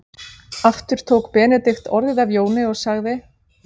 Aftur tók Benedikt orðið af Jóni og sagði